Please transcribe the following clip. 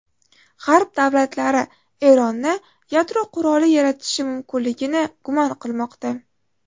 G‘arb davlatlari Eronni yadro quroli yaratishi mumkinligini gumon qilmoqda.